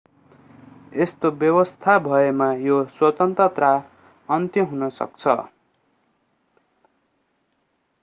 यस्तो व्यवस्था भएमा यो स्वतन्त्रता अन्त्य हुन सक्छ